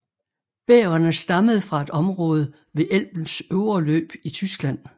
Bæverne stammede fra et område ved Elbens øvre løb i Tyskland